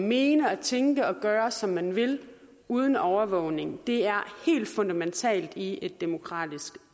mene og tænke og gøre som man vil uden overvågning er helt fundamentalt i et demokratisk